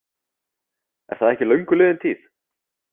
Er það ekki löngu liðin tíð?